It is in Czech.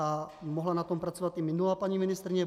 A mohla na tom pracovat i minulá paní ministryně.